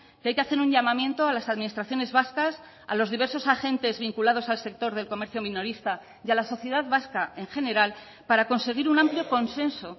que hay que hacer un llamamiento a las administraciones vascas a los diversos agentes vinculados al sector del comercio minorista y a la sociedad vasca en general para conseguir un amplio consenso